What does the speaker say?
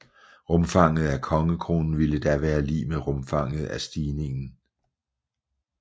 Rumfanget af kongekronen ville da være lig med rumfanget af stigningen